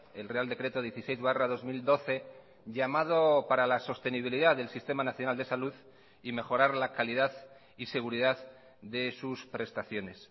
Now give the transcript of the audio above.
el real decreto dieciséis barra dos mil doce llamado para la sostenibilidad del sistema nacional de salud y mejorar la calidad y seguridad de sus prestaciones